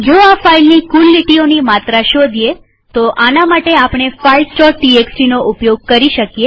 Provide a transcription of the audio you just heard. જો આ ફાઈલની કુલ લીટીઓની માત્રા શોધીએતો આના માટે આપણે filesટીએક્સટી નો ઉપયોગ કરી શકીએ